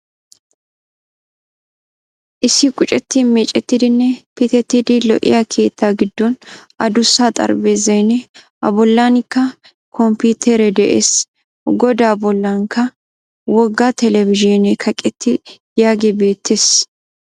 Issi qucetti meecettidinne pittetidi lo''iyaa keetta giddon adussa xarphphezaynne a bolanikka komputtere de'ees. Goddaa bollankkka wogga telbizhzhinne kaqettidi de'iyaage beettes.